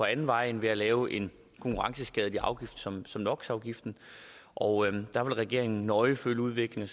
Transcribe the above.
anden vej end ved at lave en konkurrenceskadelig afgift som som no og der vil regeringen nøje følge udviklingen